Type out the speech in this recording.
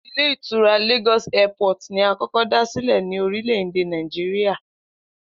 Ile Ìtura ‘Lagos Airport’ ni a kó̩kó̩ dá sílè̩ ní orílè̩-èdè Nàìjíríà